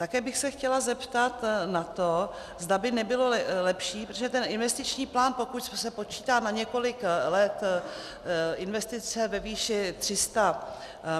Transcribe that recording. Také bych se chtěla zeptat na to, zda by nebylo lepší, protože ten investiční plán, pokud se počítá na několik let investice ve výši 300